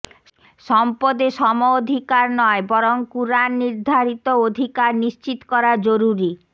সম্পদে সমঅধিকার নয় বরং কুরআন নির্ধারিত অধিকার নিশ্চিত করা জরুরী